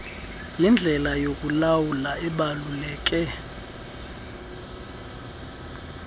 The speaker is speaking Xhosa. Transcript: yindlela yokulawula ebaluleke